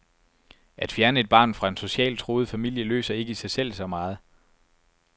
At fjerne et barn fra en socialt truet familie løser ikke i sig selv så meget.